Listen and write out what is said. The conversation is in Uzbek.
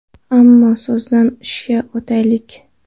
Ammo so‘zdan ishga o‘taylik.